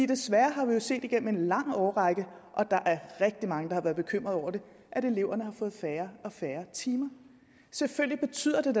desværre har vi jo set gennem en lang årrække og der er rigtig mange der har været bekymrede over det at eleverne har fået færre og færre timer selvfølgelig betyder